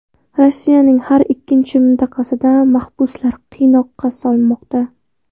Rossiyaning har ikkinchi mintaqasida mahbuslar qiynoqqa solinmoqda.